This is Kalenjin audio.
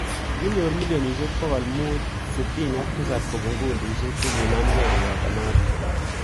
Kikinyor millionishek 567 kopun kundishek che kinamgei kopoto notok.